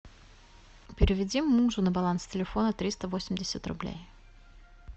переведи мужу на баланс телефона триста восемьдесят рублей